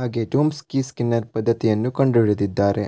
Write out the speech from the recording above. ಹಾಗೆ Chomsky Skinner ಪದ್ಧತಿಯನ್ನು ಕಂಡು ಹಿಡಿದಿದ್ದಾರೆ